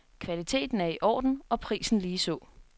Kvaliteten er i orden og prisen ligeså.